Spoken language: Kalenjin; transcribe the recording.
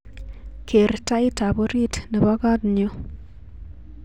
Ker taitab orit nebo kotnyu